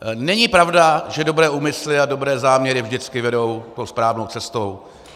Není pravda, že dobré úmysly a dobré záměry vždycky vedou tou správnou cestou.